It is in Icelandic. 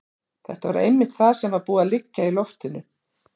Þetta var einmitt það sem var búið að liggja í loftinu.